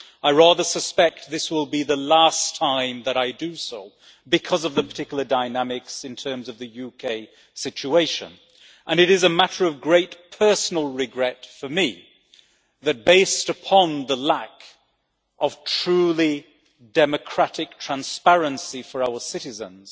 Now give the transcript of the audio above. I rather suspect this will be the last time that I do so, because of the particular dynamics in terms of the UK situation, and it is a matter of great personal regret for me that, based upon the lack of truly democratic transparency for our citizens,